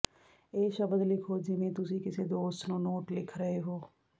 ਇਹ ਸ਼ਬਦ ਲਿਖੋ ਜਿਵੇਂ ਤੁਸੀਂ ਕਿਸੇ ਦੋਸਤ ਨੂੰ ਨੋਟ ਲਿਖ ਰਹੇ ਹੋ